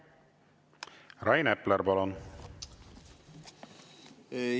Rain Epler, palun!